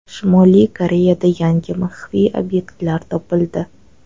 Shimoliy Koreyada yangi maxfiy obyektlar topildi.